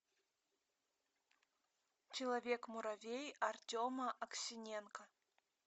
человек муравей артема аксененко